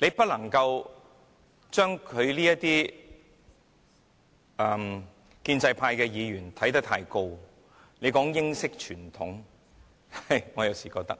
我們不能夠將建制派議員看得太高，他們說英式傳統，我有時認為，